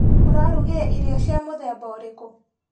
ũrarugire irio cia mũthemba ũrĩkũ?